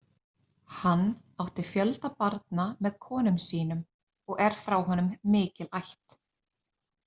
Hann átti fjölda barna með konum sínum og er frá honum mikil ætt.